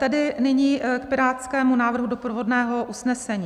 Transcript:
Tedy nyní k pirátskému návrhu doprovodného usnesení.